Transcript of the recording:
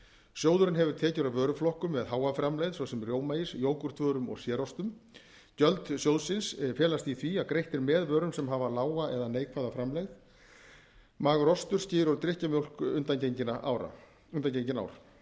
sjóðurinn hefur tekjur af vöruflokkum með háa framlegð svo sem rjómaís jógúrtvörum og sérostum gjöld sjóðsins felast í því að greitt er með vörum sem hafa lága eða neikvæða framlegð magur ostur skyr og drykkjarmjólk undangengin ár í þrettándu